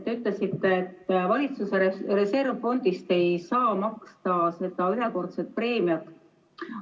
Te ütlesite, et valitsuse reservfondist ei saa maksta ühekordset preemiat.